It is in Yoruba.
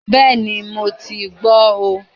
Bẹ́ẹ̀ni ,mo ti gbó o